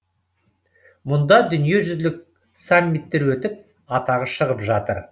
мұнда дүниежүзілік саммиттер өтіп атағы шығып жатыр